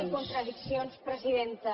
i contradiccions presidenta